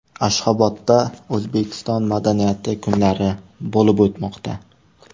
Ashxobodda O‘zbekiston madaniyati kunlari bo‘lib o‘tmoqda .